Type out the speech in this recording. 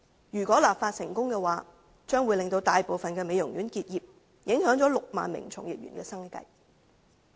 如果立法成功，將會令大部分美容院結業，影響6萬名從業員的生計。